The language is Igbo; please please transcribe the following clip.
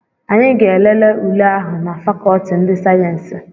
Anyị ga-elele ule ahụ na fakọọti ndị sayensị.